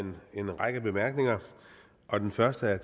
en række bemærkninger og den første er